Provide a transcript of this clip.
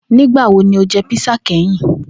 Nigbawo ni o jẹ písà kẹhin?